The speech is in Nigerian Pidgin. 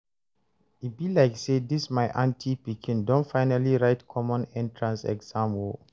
e be like say dis my aunty pikin don finally write common entrance exam o